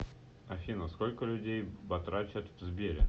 афина сколько людей батрачат в сбере